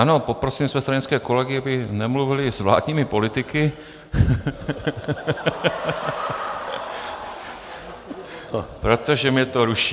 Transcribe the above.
Ano, poprosím své stranické kolegy, aby nemluvili s vládními politiky, protože mě to ruší.